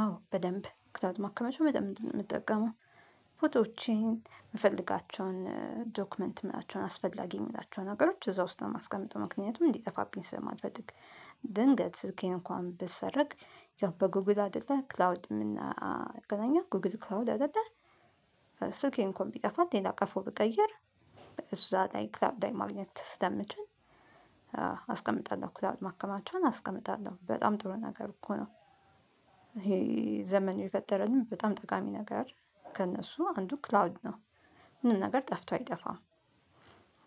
አዎ በደንብ ክላውድ ማከማቻ በደንብ ነው የምጠቀመው ፎቶዎቼን የምፈልጋቸውን ዶክመንት የምናላቸውን አስፈላጊ የምላቸውን ነገሮች እዛ ውስጥ ነው የማስቀምጠው ምክንያቱም እንዲጠፋብኝ ስለማልፈልግ። ድንገት ስልኬን እንኳን ብትሰረቅ ያው በጉግል አይደለ ክላውድ ምናገናኘው ጉግል ክላውድ አይደለ ስልኬ እንኳን ቢጠፋ ሌላ ቀፎ ብቀይር። እዛ ላይ ክላውድ ላይ ማግኘት ስለምችል አስቀምጣለሁ ክላውድ ማከማቻን አስቀምጣለሁ በጣም ጥሩ ነገር እኮ ነው። ይሄ ዘመን የፈጠረልን በጣም ጠቃሚ ነገር ከእነሱ አንዱ ክላውድ ነው። ምንም ነገር ጠፍቶ አይጠፋም።